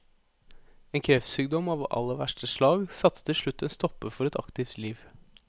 En kreftsykdom av aller verste slag satte til slutt en stopper for et aktivt liv.